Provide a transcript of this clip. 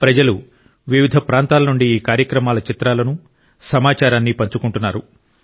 ప్రజలు వివిధ ప్రాంతాల నుండి ఈ కార్యక్రమాల చిత్రాలను సమాచారాన్ని పంచుకుంటున్నారు